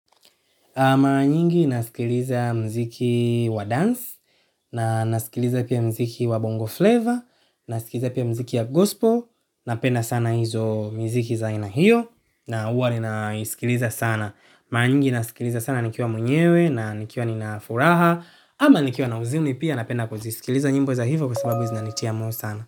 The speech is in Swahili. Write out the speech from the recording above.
Mara nyingi nasikiliza muziki wa dance na nasikiliza pia muziki wa bongo flavor na nasikiliza pia muziki ya gospel na penda sana hizo miziki za aina hiyo na huwa ninaisikiliza sana. Mara nyingi nasilikiliza sana nikiwa mwenyewe na nikiwa nina furaha au nikiwa na huzuni pia napenda kusikiliza nyimbo za hivo kwa sababunzina nitia moyo sana.